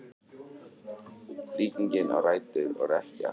Líkingin á rætur að rekja til skáktafls.